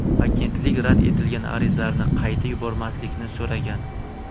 Agentlik rad etilgan arizalarni qayta yubormaslikni so‘ragan.